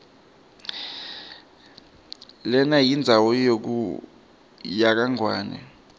lenayindzawo yakangwane